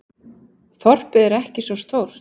Þorpið er ekki svo stórt.